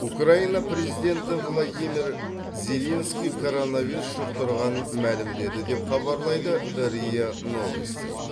украина президенті владимир зеленский коронавирус жұқтырғанын мәлімдеді деп хабарлайды риа новости